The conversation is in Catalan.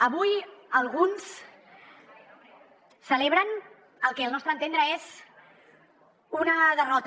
avui alguns celebren el que al nostre entendre és una derrota